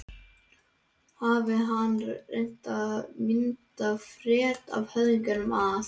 Hafi hann til að mynda frétt það af höfðingjum að